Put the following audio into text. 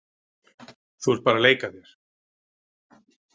Þú ert bara að leika þér.